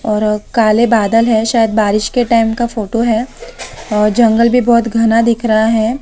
और अ काले बादल है शायद बारिश के टाइम का फोटो है और जंगल भी बहुत घना दिख रहा है।